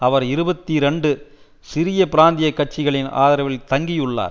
அவர் இருபத்தி இரண்டு சிறிய பிராந்திய கட்சிகளின் ஆதரவில் தங்கி உள்ளார்